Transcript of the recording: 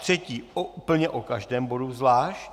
Třetí, úplně o každém bodu zvlášť.